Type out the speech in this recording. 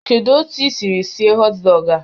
Kedu otu i siri sie họt dọgụ a?